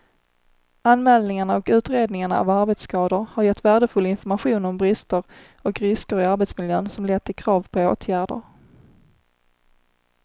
Anmälningarna och utredningarna av arbetsskador har gett värdefull information om brister och risker i arbetsmiljön som lett till krav på åtgärder.